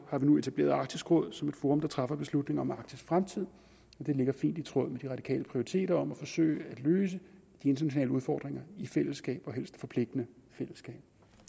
har vi nu etableret arktisk råd som et forum der træffer beslutninger om arktis fremtid og det ligger fint i tråd med de radikale prioriteter om at forsøge at løse de internationale udfordringer i fællesskab og helst et forpligtende fællesskab